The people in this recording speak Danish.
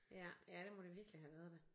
Ja ja det må det virkelig have været da